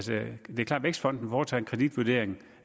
vækstfonden foretager en kreditvurdering